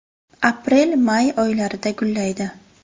Aprelmay oylarida gullaydi.